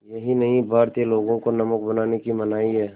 यही नहीं भारतीय लोगों को नमक बनाने की मनाही है